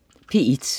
P1: